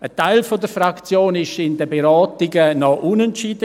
Ein Teil der Fraktion war in den Beratungen noch unentschieden.